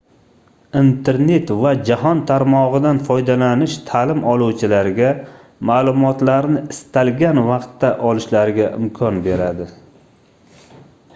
internet va jahon tarmogʻidan foydalanish taʼlim oluvchilarga maʼlumotlarni istalgan vaqtda olishlariga imkon beradi